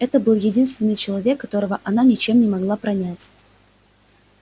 это был единственный человек которого она ничем не могла пронять